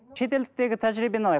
шетелдіктегі тәжірибені алайық